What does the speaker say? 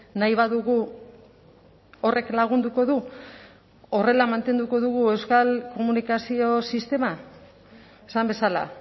nahi badugu horrek lagunduko du horrela mantenduko dugu euskal komunikazio sistema esan bezala